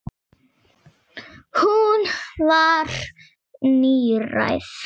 Hún var níræð.